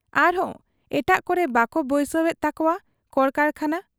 ᱟᱨᱦᱚᱸ ᱮᱴᱟᱜ ᱠᱚᱨᱮ ᱵᱟᱠᱚ ᱵᱟᱹᱭᱥᱟᱹᱣ ᱮᱫ ᱛᱟᱠᱚᱣᱟ ᱠᱚᱲᱠᱟᱨᱠᱷᱟᱱᱟ ᱾